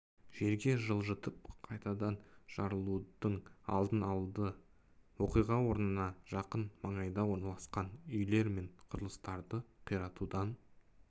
жерге жылжытып қайтадан жарылудың алдын алды оқиға орнына жақын маңайда орналасқан үйлер мен құрылыстарды қиратудан